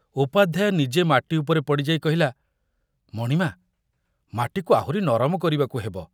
ଉପାଧ୍ୟାୟ ନିଜେ ମାଟି ଉପରେ ପଡ଼ିଯାଇ କହିଲା, ମଣିମା, ମାଟିକୁ ଆହୁରି ନରମ କରିବାକୁ ହେବ।